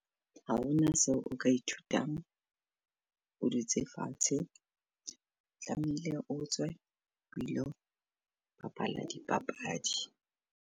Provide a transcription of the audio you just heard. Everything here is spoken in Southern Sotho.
Ha hona seo o ka ithutang o dutse fatshe, tlameile o tswe o ilo bapala dipapadi.